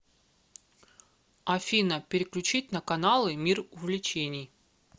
афина переключить на каналы мир увлечений